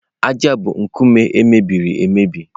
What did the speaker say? ájá bụ nkume e mebiri emebi.